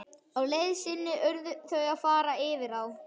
Á leið sinni urðu þau að fara yfir á.